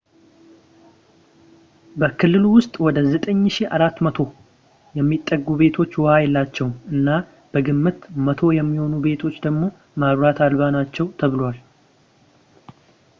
በክልሉ ውስጥ ወደ 9400 የሚጠጉ ቤቶች ውሃ የላቸውም ፣ እና በግምት 100 የሚሆኑ ቤቶች ደግሞ መብራት አልባ ናቸው ተብሏል